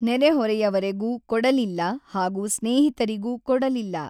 ನೆರೆ-ಹೊರೆಯವರೆಗೂ ಕೊಡಲಿಲ್ಲ ಹಾಗೂ ಸ್ನೇಹಿತರಿಗೂ ಕೊಡಲಿಲ್ಲ.